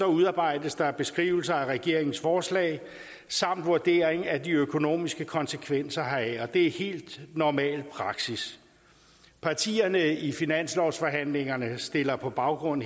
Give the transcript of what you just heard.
udarbejdes der beskrivelser af regeringens forslag samt vurdering af de økonomiske konsekvenser heraf og det er helt normal praksis partierne i finanslovsforhandlingerne stiller på baggrund